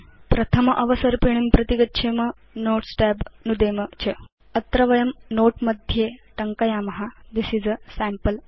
प्रथम अवसर्पिणीं प्रति गच्छेम Notes tab नुदेम च अत्र वयं नोते मध्ये टङ्कयाम थिस् इस् a सैम्पल नोते